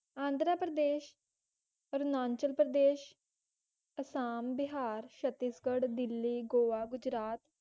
Andhra Pradesh Arunachal Pradesh Assam Bihar Chhattisgarh Delhi Goa Gujarat